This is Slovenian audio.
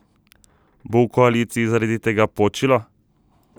Bo v koaliciji zaradi tega počilo?